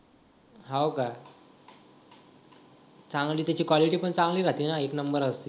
हाव का चांगली त्याची quality पण चांगली राहते ना एक number असते